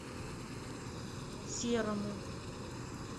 серому